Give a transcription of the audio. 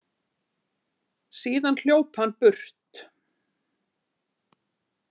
Síðan hljóp hann burt.